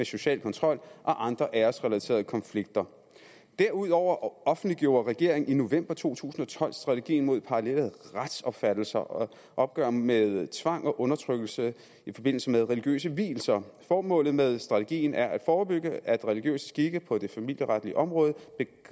social kontrol og andre æresrelaterede konflikter derudover offentliggjorde regeringen i november to tusind og tolv strategien mod parallelle retsopfattelser og et opgør med tvang og undertrykkelse i forbindelse med religiøse vielser formålet med strategien er at forebygge at religiøse skikke på det familieretlige område